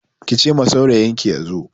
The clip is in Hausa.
Ki ce ma saurayinki ya zo!